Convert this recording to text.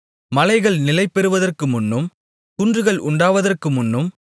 மலைகள் நிலைபெறுவதற்கு முன்னும் குன்றுகள் உண்டாவதற்கு முன்னும்